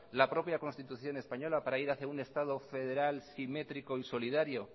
la propia constitución española para ir hacia un estado federal simétrico y solidario